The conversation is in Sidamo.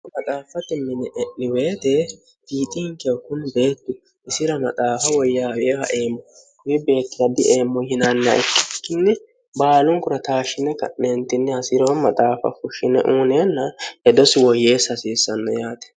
k maxaaffatti mini e'liweete fiidinkeh kuni beettu isira maxaafa woyyaawie haeemmo ii beettira dieemmo hinanna ikkikkinni baalunkurataashshine ka'neentinni hasiroo maxaafa fushshine uuneenna edosi woyyeessi hasiissanno yaate